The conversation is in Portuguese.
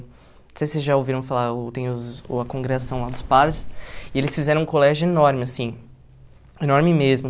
Não sei se vocês já ouviram falar uh, tem os o a congregação lá dos padres, e eles fizeram um colégio enorme assim, enorme mesmo.